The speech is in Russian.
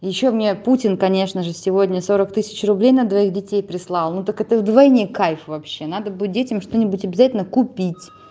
ещё мне путин конечно же сегодня сорок тысяч рублей на двоих детей прислал ну так это вдвойне кайф вообще надо будет детям что-нибудь обязательно купить